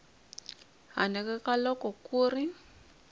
handle ka loko ku ri